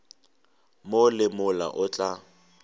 mo le mola o tla